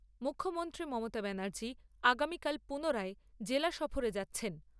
মুখ্যমন্ত্রী মমতা ব্যানার্জি আগামীকাল পুনরায় জেলা সফরে যাচ্ছেন।